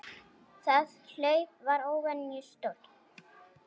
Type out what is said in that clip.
Það hlaup var óvenju stórt.